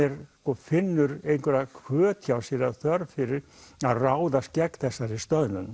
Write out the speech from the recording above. finnur einhverja hvöt hjá sér eða þörf fyrir að ráðast gegn þessari stöðnun